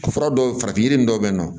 Fura dɔw fara yiri dɔw bɛ yen nɔ